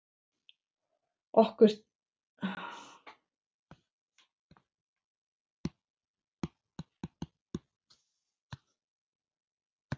Og okkur þykir öllum ósköp vænt um þig.